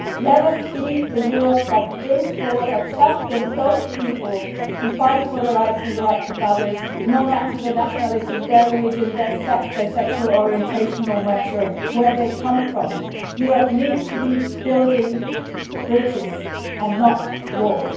Let us be the Europe that brings forward and champions those people who fight for their rights and the rights of others, no matter what their nationality, religion, sex or sexual orientation, and no matter where they come from. Europe needs to be building bridges and not walls.